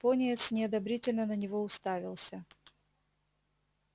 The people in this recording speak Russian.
пониетс неодобрительно на него уставился